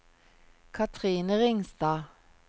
Cathrine Ringstad